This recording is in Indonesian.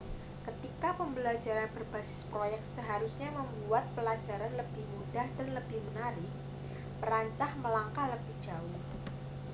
ketika pembelajaran berbasis proyek seharusnya membuat pembelajaran lebih mudah dan lebih menarik perancah melangkah lebih jauh